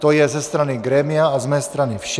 To je ze strany grémia a z mé strany vše.